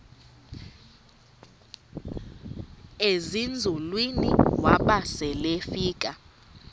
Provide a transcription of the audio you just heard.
ezinzulwini waba selefika